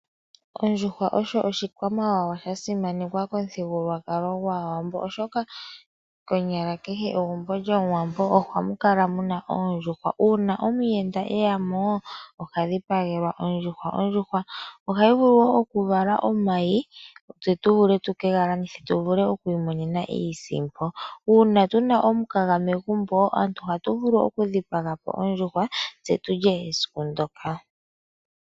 Ondjuhwa osho oshikwamawa sha simanekwa momuthigululwakalo gwAawambo, oshoka konyala kehe megumbo lyOmuwambo ohamu kala mu na oondjuhwa. Uuna omuyenda e ya mo oha dhipagelwa ondjuhwa. Ondjuhwa ohayi vulu wo okuvala omayi tu vule oku ke ga landitha tu vule okumona iisimpo. Uuna tu na omukaga megumbo ohatu vulu okudhipaga po ondjuhwa tse tu lye esiku ndyoka.